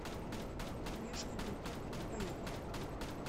нежный бульдог поехали